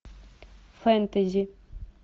фентези